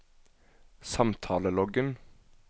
samtaleloggen